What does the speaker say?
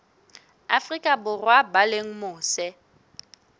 afrika borwa ba leng mose